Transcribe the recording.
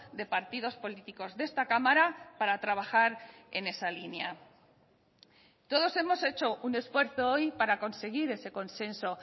de partidos políticos de esta cámara para trabajar en esa línea todos hemos hecho un esfuerzo hoy para conseguir ese consenso